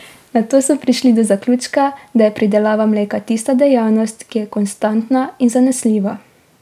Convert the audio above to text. Nato so prišli do zaključka, da je pridelava mleka tista dejavnost, ki je konstantna in zanesljiva.